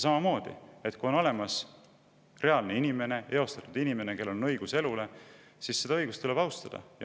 Samamoodi, kui on olemas reaalne inimene, eostatud inimene, kellel on õigus elule – seda õigust tuleb austada.